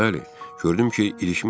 Bəli, gördüm ki, ilişmişəm.